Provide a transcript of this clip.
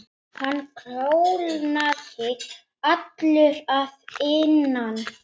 Hann kólnaði allur að innan.